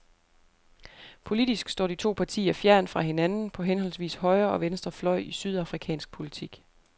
Politisk står de to partier fjernt fra hinanden, på henholdsvis højre og venstre fløj i sydafrikansk politik.